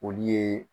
Olu ye